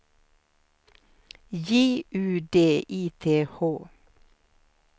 J U D I T H